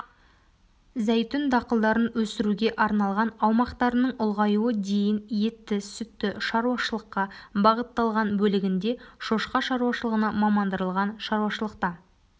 зәйтүн дақылдарын өсіруге арналған аумақтарының ұлғаюы дейін етті-сүтті шаруашылыққа бағытталған бөлігінде шошқа шаруашылығына мамандандырылған шаруашылықта